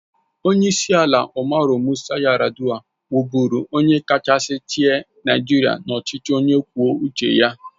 Onyeisi ala Umaru Musa Yar'Adua wụ bụrụ onye kachasị chịa Naịjirịa n'ọchịchị onye kwuo uche ya.